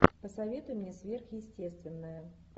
посоветуй мне сверхъестественное